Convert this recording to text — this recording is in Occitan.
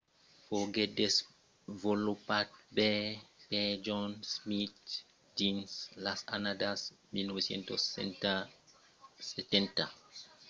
foguèt desvolopat per john smith dins las annadas 1970 per ajudar los plegaires inexperimentats o los qu'an de capacitat motrises limitadas